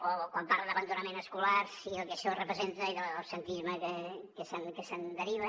o quan parla d’abandonament escolar i del que això representa i de l’absentisme que se’n deriva